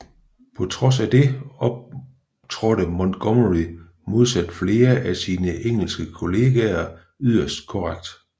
På trods af det optrådte Montgomery modsat flere af sine engelske kollegaer yderst korrekt